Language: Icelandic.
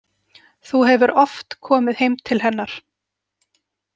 Þú hefur oft komið heim til hennar?